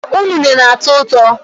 Ụnene na-atọ ụtọ